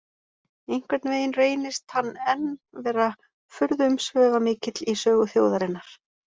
Einhvern veginn reynist hann enn vera furðu-umsvifamikill í sögu þjóðarinnar.